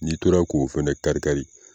N'i tora k'o fana kari-kari